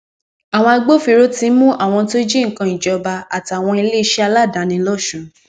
àwọn agbófinró tí ń mú àwọn tó jí nǹkan ìjọba àtàwọn iléeṣẹ aládàáni lọsùn